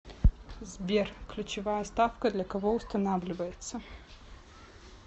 сбер ключевая ставка для кого устанавливается